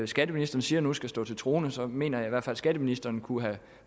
skatteministeren siger nu skal stå til troende så mener jeg fald at skatteministeren kunne have